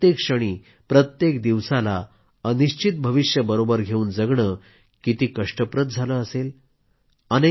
जीवनाच्या प्रत्येक क्षणी प्रत्येक दिवसाला अनिश्चित भविष्य बरोबर घेवून जगणं किती कष्टप्रद असणार